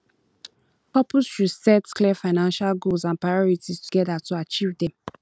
couples should set clear financial goals and priorities together to achieve dem